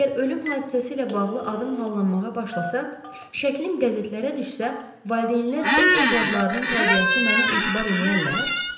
Əgər ölüm hadisəsi ilə bağlı adım hallanmağa başlasa, şəklim qəzetlərə düşsə, valideynlər öz övladlarının tərbiyəsini mənə etibar eləyərlər?